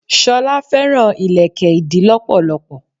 Sola fẹ́ràn ìlékè ìdí lọpọlọpọ.